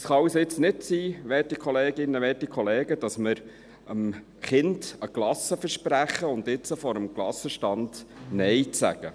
Es kann jetzt also nicht sein, werte Kolleginnen und werte Kollegen, dass wir einem Kind ein Eis versprechen und jetzt vor dem Eisstand Nein sagen.